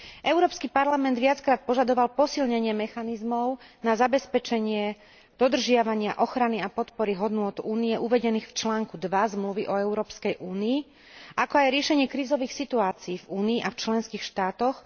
Európsky parlament viackrát požadoval posilnenie mechanizmov na zabezpečenie dodržiavania, ochrany a podpory hodnôt Únie uvedených v článku 2 Zmluvy o Európskej únii, ako aj riešenie krízových situácií v Únii a v členských štátoch.